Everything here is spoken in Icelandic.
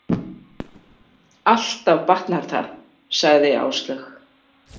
Alltaf batnar það, sagði Áslaug.